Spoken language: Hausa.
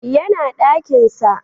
yana dakin sa